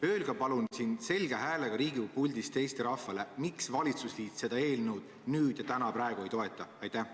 Öelge palun selge häälega Riigikogu puldist Eesti rahvale: miks valitsusliit seda eelnõu nüüd ja praegu ei toeta?